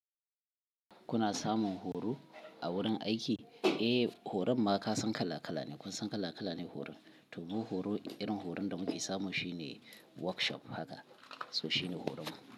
Kuna samun horo a wurin aiki? Eh, horon ma ka san kala-kala ne. Kun san kala-kala ne horon. To mu horo, irin horon da muke samu shine workshop haka, so shine horon mu.